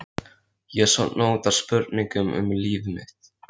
Ég sofna út frá spurningum um líf mitt.